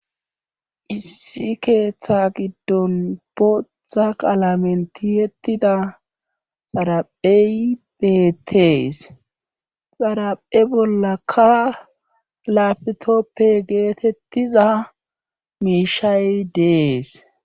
Issi keetha giddon bootha qalamen tiyettida xaraphey beetees xaraphe bollaka laapitoope geeteettiza miishay dees.